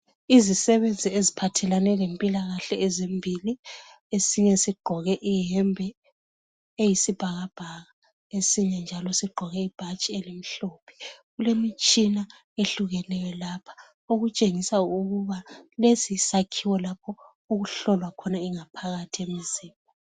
Izisebenzi eziphathelane lempilakahle ezimbili esinye sigqoke iyembe eyisibhakabhaka esinye njalo sigqoke ibhatshi elimhlophe kukemitshina ehlukeneyo lapha okutshengisa ukuba lesi yisakhiwo lapho okuhlolwa khona ongaphathi yomzimba.